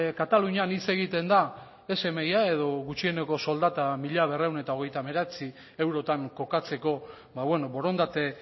katalunian hitz egiten da smia edo gutxieneko soldata mila berrehun eta hogeita hemeretzi eurotan kokatzeko borondate